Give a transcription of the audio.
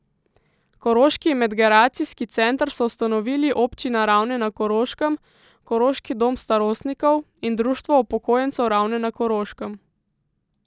Koroški medgeracijski center so ustanovili Občina Ravne na Koroškem, Koroški dom starostnikov in Društvo upokojencev Ravne na Koroškem.